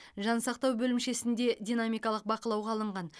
жансақтау бөлімшесінде динамикалық бақылауға алынған